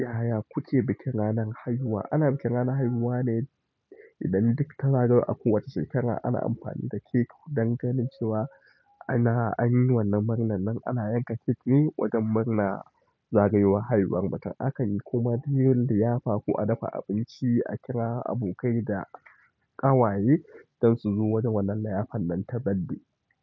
Yaya kuke bikin ranar haihuwa? Ana bikin ranar haihuwa ne idan duk ta zagayo a kowace shekara ana amfani da kek don ganin cewa ana anyi wannan murnar nan, ana yanka kek ne wajan murna zagayowar haihuwar matar. Akan yi kuma de yar liyafa ko a dafa abinci, a kira abokai da ƙawaye don su zo wajen wannan liyafar nan ta baddi.